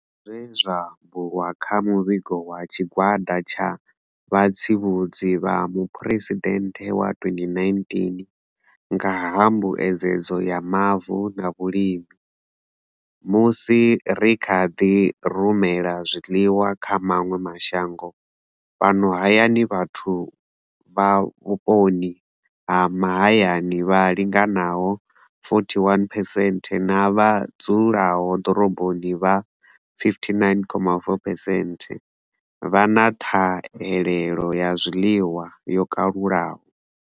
Sa zwe zwa bulwa kha muvhigo wa tshigwada tsha vhatsivhudzi vha muphuresidennde wa 2019 nga ha mbuedzedzo ya mavu na vhulimi, musi ri kha ḓi rumela zwiḽiwa kha maṅwe mashango, fhano hayani vhathu vha vhuponi ha mahayani vha linganaho 41 phesenthe na vha dzulaho ḓoroboni vha 59,4 phesenthe vha na ṱhahelelo ya zwiḽiwa yo kalulaho.